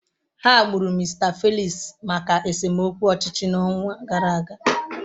Ha gburu Mr Felix maka esemokwu ọchịchị n'ọnwa gara aga.